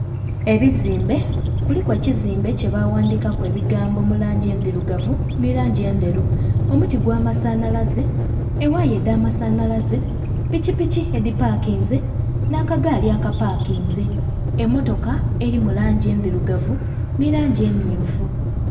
Ebizimbe kuliku ekizimbe kyebaghandikaku ebigambo mulangi endhirugavu ni langi endheru. Omuti ogw'amasanalaze ewaaya edhamasanalaze pikipiki edhipakinze n'akagaali akapakinze emmotoka eri mulangi endhirugavu ni langi emmyufu.